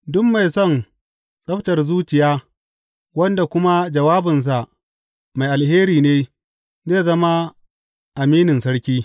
Duk mai son tsabtar zuciya wanda kuma jawabinsa mai alheri ne zai zama aminin sarki.